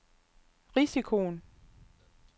risikoen